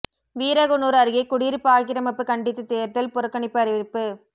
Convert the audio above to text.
வீரகனூர் அருகே குடியிருப்பு ஆக்கிரமிப்பு கண்டித்து தேர்தல் புறக்கணிப்பு அறிவிப்பு